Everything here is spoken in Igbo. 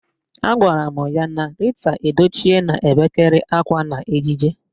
Agwara m ya na Rita Edochie na-ebekarị akwa n'ejije